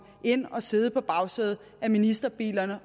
ind og sidde på bagsædet af ministerbilerne